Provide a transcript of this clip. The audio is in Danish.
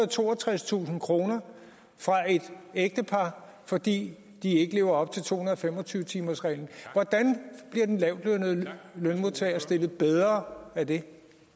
og toogtredstusind kroner fra et ægtepar fordi de ikke lever op til to hundrede og fem og tyve timersreglen hvordan bliver den lavtlønnede lønmodtager stillet bedre af det